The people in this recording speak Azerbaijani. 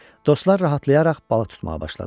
Dostlar rahatlayaraq balıq tutmağa başladılar.